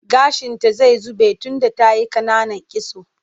Gashinta zai zube tunda ta yi ƙananan kitso.